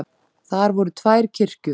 Þar voru tvær kirkjur.